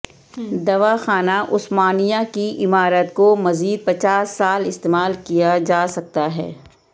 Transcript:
دواخانہ عثمانیہ کی عمارت کو مزید پچاس سال استعمال کیا جاسکتا ہے